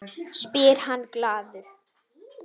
spyr hann glaður.